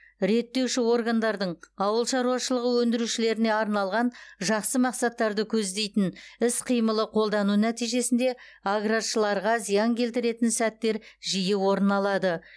реттеуші органдардың ауыл шаруашылығы өндірушілеріне арналған жақсы мақсаттарды көздейтін іс қимылы қолдану нәтижесінде аграршыларға зиян келтіретін сәттер жиі орын алады